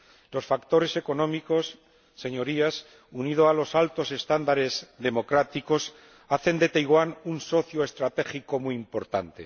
Los factores económicos, Señorías, unido a los altos estándares democráticos, hacen de Taiwán un socio estratégico muy importante.